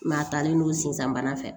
a talen no sensan fɛ